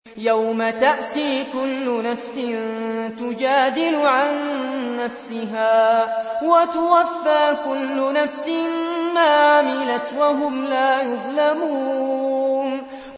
۞ يَوْمَ تَأْتِي كُلُّ نَفْسٍ تُجَادِلُ عَن نَّفْسِهَا وَتُوَفَّىٰ كُلُّ نَفْسٍ مَّا عَمِلَتْ وَهُمْ لَا يُظْلَمُونَ